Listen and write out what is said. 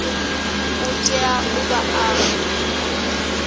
u tea u vha a